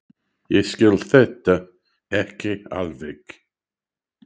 Ég skil þetta ekki alveg.